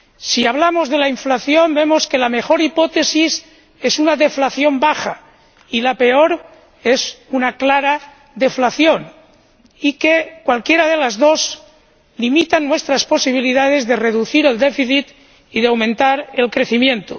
Si hablamos de la inflación, vemos que la mejor hipótesis es una deflación baja, y la peor, una clara deflación, y que cualquiera de las dos limitan nuestras posibilidades de reducir el déficit y de aumentar el crecimiento.